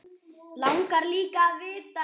Langar líka að vita.